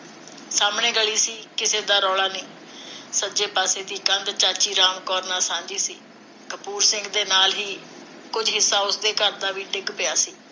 ਸਾਹਮਣੇ ਗਲੀ ਸੀ, ਕਿਸੇ ਦਾ ਰੌਲਾ ਨਹੀਂ। ਸੱਜੇ ਪਾਸੇ ਦੀ ਕੰਧ ਚਾਚੀ ਰਾਮ ਕੌਰ ਨਾਲ ਸਾਂਝੀ ਸੀ। ਕਪੂਰ ਸਿੰਘ ਦੇ ਨਾਲ ਹੀ ਕੁਝ ਹਿੱਸਾ ਉਸਦੇ ਘਰ ਦਾ ਵੀ ਡਿਗ ਪਿਆ ਸੀ,